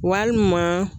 Walima